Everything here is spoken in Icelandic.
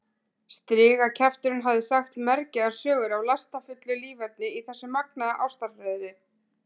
Strigakjafturinn hafði sagt mergjaðar sögur af lastafullu líferni í þessu magnaða ástarhreiðri.